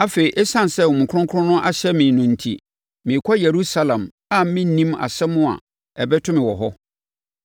“Afei, ɛsiane sɛ Honhom Kronkron ahyɛ me no enti, merekɔ Yerusalem a mennim asɛm a ɛbɛto me wɔ hɔ.